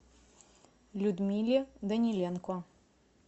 людмиле даниленко